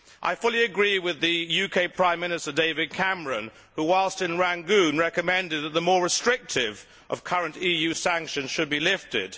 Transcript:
I fully agree with the UK Prime Minister David Cameron, who, whilst in Rangoon, recommended that the more restrictive of the current EU sanctions should be lifted.